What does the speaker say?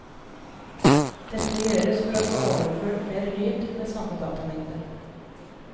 Dette gjøres for å få overført mer lyd med samme datamengde.